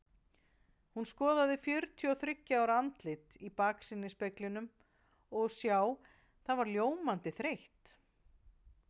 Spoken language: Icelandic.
Hún skoðaði fjörutíu og þriggja ára andlitið í baksýnisspeglinum og sjá, það var ljómandi þreytt.